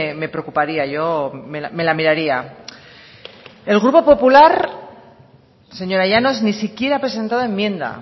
me preocuparía yo me la miraría el grupo popular señora llanos ni siquiera ha presentado enmienda